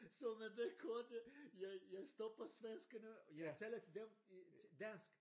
Så med den kort jeg jeg stopper svenskerne og taler til dem dansk